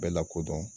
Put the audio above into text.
Bɛɛ lakodɔn